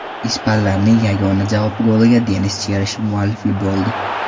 Ispanlarning yagona javob goliga Denis Cherishev muallif bo‘ldi.